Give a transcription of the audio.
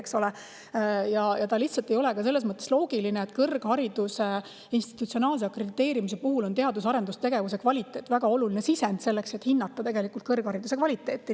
See ei ole lihtsalt ka selles mõttes loogiline, et kõrghariduse institutsionaalse akrediteerimise puhul on teadus- ja arendustegevuse kvaliteet väga oluline sisend selleks, et hinnata kõrghariduse kvaliteeti.